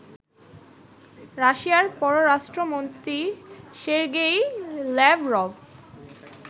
রাশিয়ার পররাষ্ট্রমন্ত্রী Sergey Lavrov